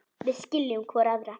Við skiljum hvor aðra.